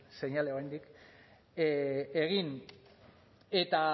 seinale oraindik egin